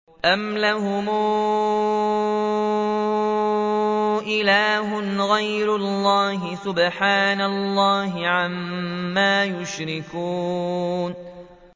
أَمْ لَهُمْ إِلَٰهٌ غَيْرُ اللَّهِ ۚ سُبْحَانَ اللَّهِ عَمَّا يُشْرِكُونَ